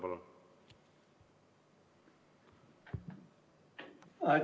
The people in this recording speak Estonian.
Palun!